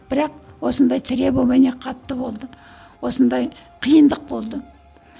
бірақ осындай требование қатты болды осындай қиындық болды